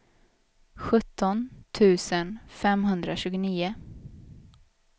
sjutton tusen femhundratjugonio